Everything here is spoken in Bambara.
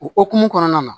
O hokumu kɔnɔna na